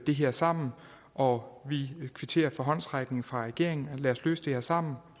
det her sammen og vi kvitterer for håndsrækningen fra regeringen lad os løse det sammen